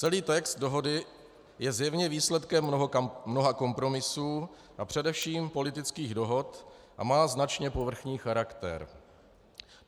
Celý text dohody je zjevně výsledkem mnoha kompromisů a především politických dohod a má značně povrchní charakter.